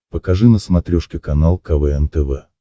покажи на смотрешке канал квн тв